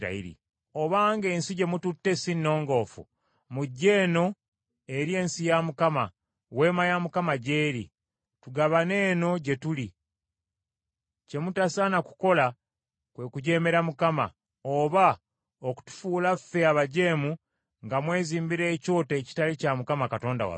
Obanga ensi gye mututte sinnongoofu, mujje eno eri ensi ya Mukama , weema ya Mukama gy’eri, tugabane eno gye tuli; kye mutasaana kukola kwe kujeemera Mukama , oba okutufuula ffe abajeemu nga mwezimbira ekyoto ekitali kya Mukama Katonda waffe.